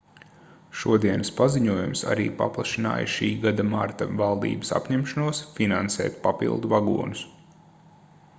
šodienas paziņojums arī paplašināja šī gada marta valdības apņemšanos finansēt papildu vagonus